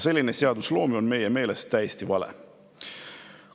Selline seadusloome on meie meelest täiesti vale.